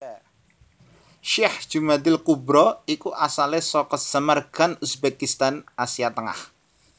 Syekh Jumadil kubro iku asalé saka Samarkand Uzbekistan Asia Tengah